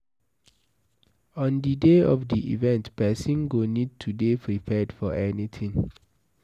On di day of di event, person go need to dey prepared for anything